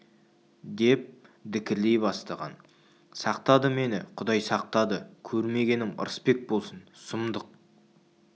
деп дікілдей бастаған сақтады мені құдай сақтады көрмегенім ырысбек болсын сұмдық